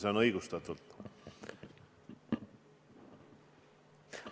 See on õigustatud.